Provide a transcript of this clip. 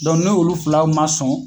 n'olu fila ma sɔn